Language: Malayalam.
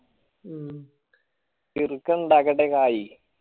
ചെറുക്കൻ ഇണ്ടാകട്ടെ കായി